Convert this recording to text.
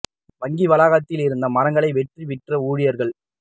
வங்கி வளாகத்தில் இருந்த மரங்களை வெட்டி விற்ற ஊழியர்கள்